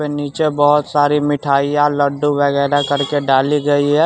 नीचे बहुत सारी मिठाइयाँ लड्डू वगैरह करके डाली गई है।